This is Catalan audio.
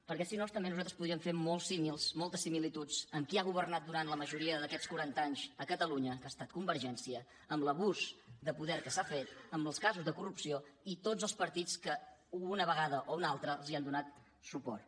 perquè si no també nosaltres podríem fer molts símils moltes similituds amb qui ha governat durant la majoria d’aquests quaranta anys a catalunya que ha estat convergència amb l’abús de poder que s’ha fet amb els casos de corrupció i tots els partits que o una vegada o una altra els han donat suport